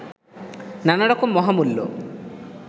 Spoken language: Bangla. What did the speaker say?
নানা রকম মহামূল্য